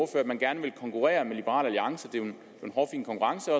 at man gerne vil konkurrere med liberal alliance det er jo en hårfin konkurrence